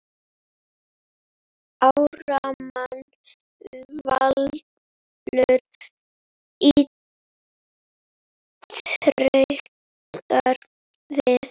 Ármann Valur ítrekar við